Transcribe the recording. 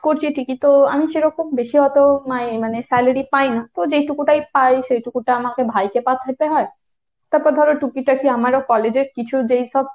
করছি ঠিকই তো আমি সেরকম বেশি অত মাই~ মানে salary অতো পাই না তো যেটুকু টাই পাই সেইটুকুটা আমাকে ভাইকে পাঠাইতে হয়। তারপর ধরো টুকিটাকি আমারও college এর কিছু যেইসব,